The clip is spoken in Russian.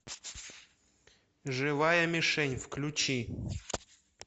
живая мишень включи